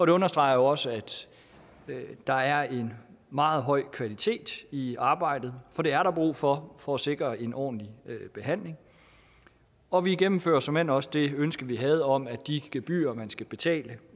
det understreger jo også at der er en meget høj kvalitet i arbejdet for det er der brug for for at sikre en ordentlig behandling og vi gennemfører såmænd også det ønske vi havde om at de gebyrer man skal betale